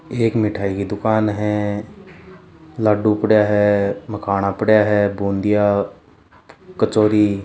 एक मिठाई की दुकान है लाडू पड़या है मखाना पड़या है बूंदिया कचोरी --